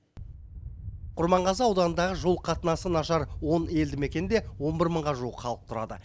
құрманғазы ауданындағы жол қатынасы нашар он елді мекенде он бір мыңға жуық халық тұрады